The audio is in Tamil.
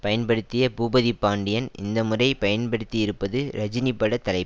பயன்படுத்திய பூபதி பாண்டியன் இந்த முறை பயன்படுத்தியிருப்பது ரஜினி பட தலை